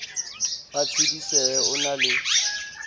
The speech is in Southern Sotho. ba tshedisehe o na le